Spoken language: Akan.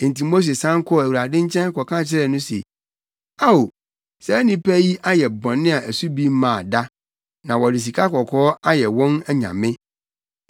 Enti Mose san kɔɔ Awurade nkyɛn kɔka kyerɛɛ no se, “Ao, saa nnipa yi ayɛ bɔne a ɛso bi mmaa da, na wɔde sikakɔkɔɔ ayɛ wɔn anyame.